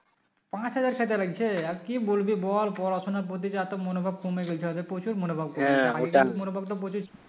পাঁচ হাজার খেতে লাগছে আর কি বলবি বল পড়াশোনার প্রতি যে এতো মনোভাব কমে গেছে ওদের প্রচুর মনোভাব কমে গেছে আগে মনোভাবটা প্রচুর